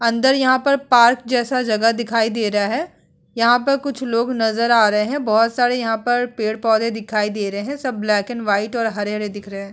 अंदर यहाँ पर पार्क जैसा जगह दिखाई दे रहा है यहाँ पर कुछ लोग नज़र आ रहे हैं बहोत सारे यहाँ पर पेड़-पौधे दिखाई दे रहे है सब ब्लैक एंड वाइट हरे-हरे दिख रहे है।